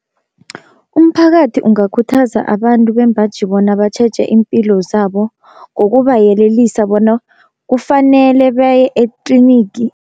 Umphakathi ungakhuthaza abantu bembaji bona batjheje impilo zabo, ngokubayelelisa bona kufanele baye etlinigi.